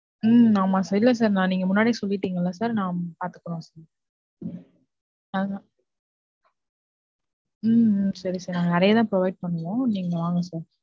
உம் ஆமா sir. இல்ல sir நீங்க முன்னாடியே சொல்லிட்டீங்கல்ல நாங்க பாத்துக்குறோம். உம் உம் சரி sir நாங்க நிறையா தான் provide பண்ணுவோம். நீங்க வாங்க sir